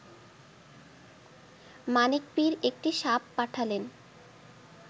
মানিক পীর একটি সাপ পাঠালেন